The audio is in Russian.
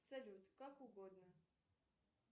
салют как угодно